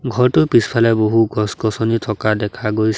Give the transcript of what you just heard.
ঘৰটোৰ পিছফালে বহু গছ গছনি থকা দেখা গৈ--।